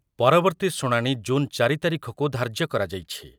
ପରବର୍ତ୍ତୀ ଶୁଣାଣି ଜୁନ୍ ଚାରି ତାରିଖକୁ ଧାର୍ଯ୍ୟ କରାଯାଇଛି ।